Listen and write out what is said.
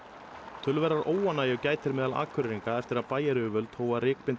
töluverðrar óánægju gætir meðal Akureyringa eftir að bæjaryfirvöld hófu að